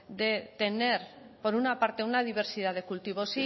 de tener por una parte una diversidad de cultivo